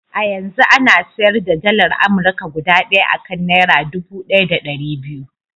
A yanzu ana sayar da dalar Amurka guda ɗaya a kan naira dubu ɗaya da ɗari biyu.